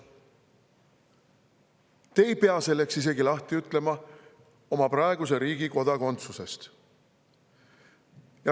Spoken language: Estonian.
Te ei pea selleks isegi lahti ütlema oma praegusest kodakondsusest.